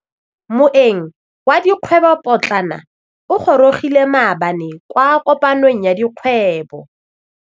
Moêng wa dikgwêbô pôtlana o gorogile maabane kwa kopanong ya dikgwêbô.